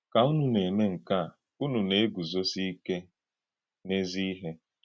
Kà únù na-èmè nke a, únù na-egùzósì íké n’èzí-íhè.